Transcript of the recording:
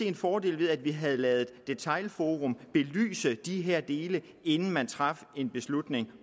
en fordel ved at vi havde ladet detailforum belyse de her dele inden man traf en beslutning